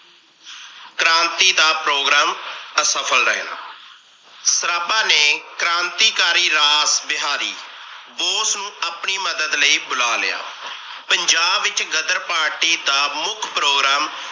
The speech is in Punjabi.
ਕ੍ਰਾਂਤੀ ਦਾ program ਅਸਫਲ ਰਹਿਣਾ ਸਰਾਬਾ ਨੇ ਕ੍ਰਾਂਤੀਕਾਰੀ ਰਾਸ ਬਿਹਾਰੀ ਬੋਸ ਨੂੰ ਆਪਣੀ ਮਦਦ ਲਈ ਬੁਲਾ ਲਿਆ। ਪੰਜਾਬ ਵਿਚ ਗ਼ਦਰ party ਦਾ ਮੁੱਖ program